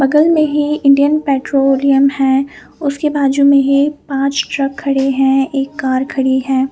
बगल में ही इंडियन पेट्रोलियम है उसके बाजू में ही पाच ट्रक खड़े है एक कार खड़ी है।